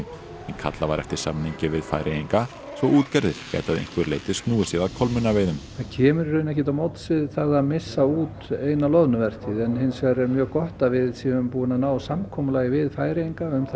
en kallað var eftir samningi við Færeyinga svo útgerðir gætu að einhverju leyti snúið sér að kolmunnaveiðum það kemur í rauninni ekkert til móts við það að missa út eina loðnuvertíð en hins vegar er mjög gott að við erum búin að ná samkomulagi við Færeyinga um